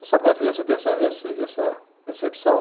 Você sabe que a criança tem essa, esse, essa percepção?